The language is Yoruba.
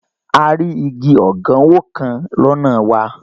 A rí igi ọ̀gánwó kan lọ́nà wa